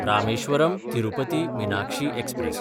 रामेश्वरम–तिरुपथी Meenakshi express